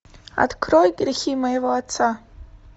открой грехи моего отца